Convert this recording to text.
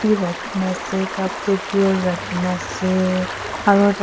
wi rakhina ase cup tey beer rakhina ase aro tat--